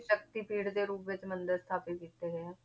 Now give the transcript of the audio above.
ਸ਼ਕਤੀਪੀਠ ਦੇ ਰੂਪ ਵਿੱਚ ਮੰਦਿਰ ਸਥਾਪਿਤ ਕੀਤੇ ਗਏ ਆ,